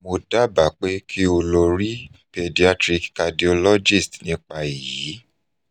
mo daba pe ki o lori pediatric cardiologist nipa eyi